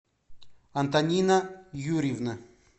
антонина юрьевна